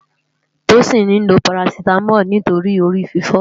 Tosin ni ló párásitámòl nitóri óni órififò